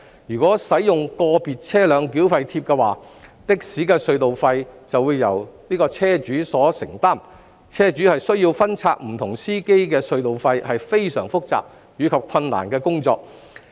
如果使用"個別車輛繳費貼"的話，的士的隧道費則會全由車主承擔，車主需要分拆不同司機的隧道費是非常複雜及困難的工作。